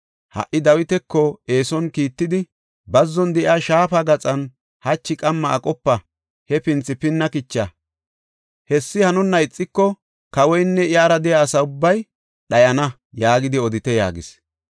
Ha77i Dawitako eeson kiittidi, ‘Bazzon de7iya shaafa gaxan hachi qamma aqopa; hefinthi pinna kicha! Hessi hanonna ixiko, kawoynne iyara de7iya asa ubbay dhayana’ yaagidi odite” yaagis.